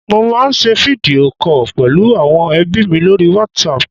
mo ma n se video call pẹlu awon ebi mi lori WhatsApp